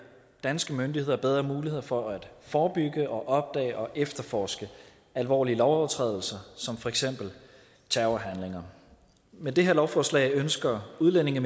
danske myndigheder bedre muligheder for at forebygge opdage og efterforske alvorlige lovovertrædelser som for eksempel terrorhandlinger med det her lovforslag ønsker udlændinge